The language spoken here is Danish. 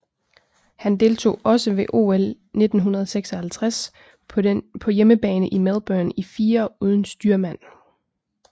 Han deltog også ved OL 1956 på hjemmebane i Melbourne i firer uden styrmand